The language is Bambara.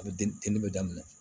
A bɛ den teliman